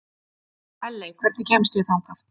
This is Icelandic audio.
Elley, hvernig kemst ég þangað?